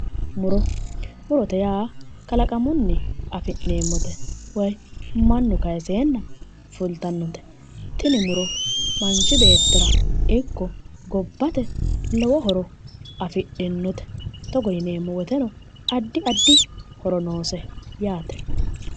Muro mrote yaa kalaqamunni afi'nanneemmote woyi mannu kaayiiseenna fultannote tini muro manchi beettira ikko gobbate lowo horo afidhinnote togo yineemmo woteno addi addi horo noose.